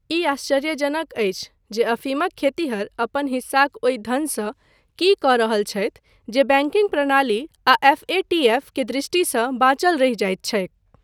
ई आश्चर्यजनक अछि जे अफीमक खेतिहर अपन हिस्साक ओहि धनसँ की कऽ रहल छथि जे बैंकिंग प्रणाली आ एफ.ए.टी.एफ. के दृष्टिसँ बाँचल रहि जाइत छैक।